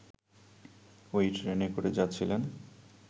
ওই ট্রেনে করে যাচ্ছিলেন